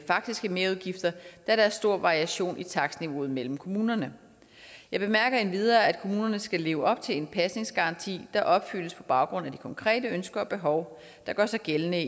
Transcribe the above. faktiske merudgifter da der er stor variation i takstniveauet mellem kommunerne jeg bemærker endvidere at kommunerne skal leve op til en pasningsgaranti der opfyldes på baggrund af de konkrete ønsker og behov der gør sig gældende